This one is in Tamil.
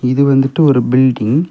இது வந்துட்டு ஒரு பில்டிங் .